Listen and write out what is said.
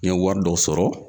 N ye wari dɔ sɔrɔ